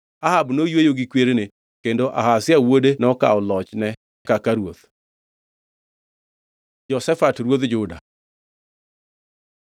Ahab noyweyo gi kwerene, kendo Ahazia wuode nokawo lochne kaka ruoth. Jehoshafat ruodh Juda